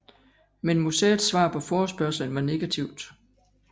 Men museets svar på forespørgslen var negativt